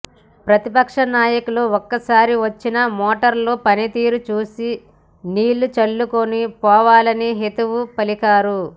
ప్రతిపక్ష నాయకులు ఒక్కసారి వచ్చి మోటార్ల పనితీరు చూసి నీళ్లు చల్లుకొని పోవాలని హితవు పలికారు